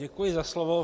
Děkuji za slovo.